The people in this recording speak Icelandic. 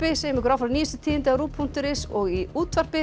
segjum ykkur áfram nýjustu tíðindi á punktur is og í útvarpi